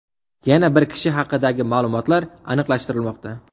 Yana bir kishi haqidagi ma’lumotlar aniqlashtirilmoqda.